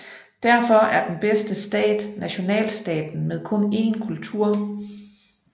Derfor er den bedste stat nationalstaten med kun én kultur